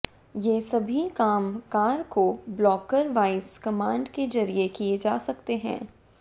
ये सभी काम कार को बोलकर वॉइस कमांड के जरिए किए जा सकते हैं